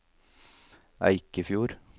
Eikefjord